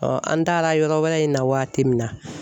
an taara yɔrɔ wɛrɛ in na waati min na